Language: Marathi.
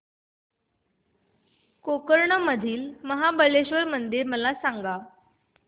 गोकर्ण मधील महाबलेश्वर मंदिर मला सांग